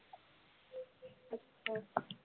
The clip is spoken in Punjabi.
ਅੱਛਾ